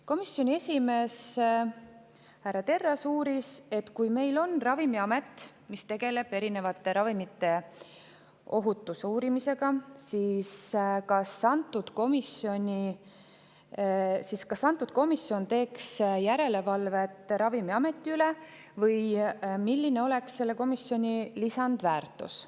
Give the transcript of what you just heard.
Komisjoni esimees härra Terras uuris, et kui meil on Ravimiamet, mis tegeleb erinevate ravimite ohutuse uurimisega, siis kas antud komisjon teeks järelevalvet Ravimiameti üle või milline oleks selle komisjoni lisandväärtus.